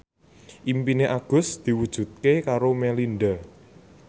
impine Agus diwujudke karo Melinda